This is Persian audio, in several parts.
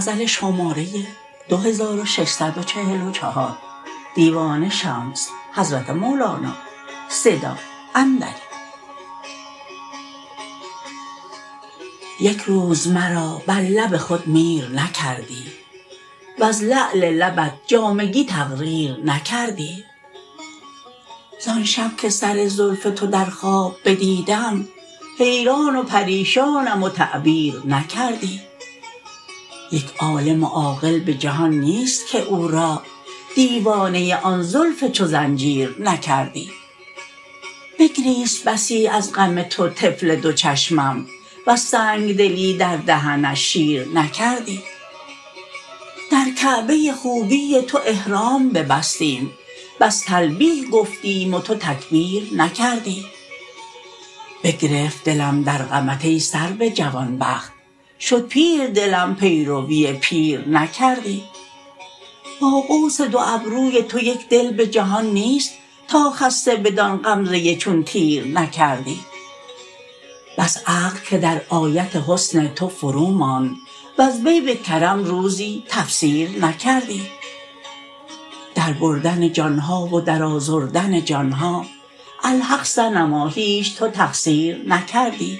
یک روز مرا بر لب خود میر نکردی وز لعل لبت جامگی تقریر نکردی زان شب که سر زلف تو در خواب بدیدم حیران و پریشانم و تعبیر نکردی یک عالم و عاقل به جهان نیست که او را دیوانه آن زلف چو زنجیر نکردی بگریست بسی از غم تو طفل دو چشمم وز سنگ دلی در دهنش شیر نکردی در کعبه خوبی تو احرام ببستیم بس تلبیه گفتیم و تو تکبیر نکردی بگرفت دلم در غمت ای سرو جوان بخت شد پیر دلم پیروی پیر نکردی با قوس دو ابروی تو یک دل به جهان نیست تا خسته بدان غمزه چون تیر نکردی بس عقل که در آیت حسن تو فروماند وز وی به کرم روزی تفسیر نکردی در بردن جان ها و در آزردن جان ها الحق صنما هیچ تو تقصیر نکردی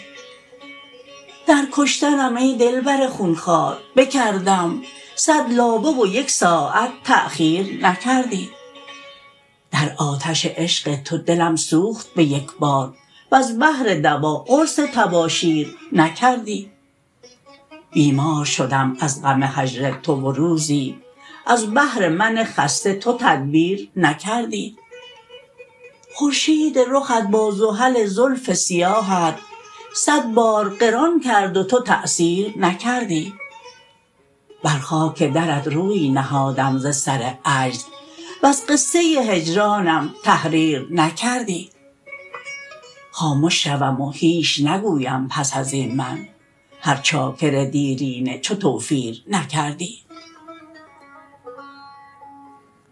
در کشتنم ای دلبر خون خوار بکردم صد لابه و یک ساعت تأخیر نکردی در آتش عشق تو دلم سوخت به یک بار وز بهر دوا قرص تباشیر نکردی بیمار شدم از غم هجر تو و روزی از بهر من خسته تو تدبیر نکردی خورشید رخت با زحل زلف سیاهت صد بار قران کرد و تو تأثیر نکردی بر خاک درت روی نهادم ز سر عجز وز قصه هجرانم تحریر نکردی خامش شوم و هیچ نگویم پس از این من هر چاکر دیرینه چو توفیر نکردی